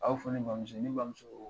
A y'a fɔ ne bamuso ne bamuso ko